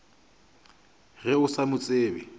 ge o sa mo tsebe